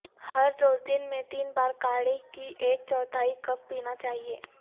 ہر روز دن میں تین بار کاڑھی کی ایک چوتھائی کپ پینا چاہئے